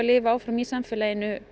búa áfram í samfélaginu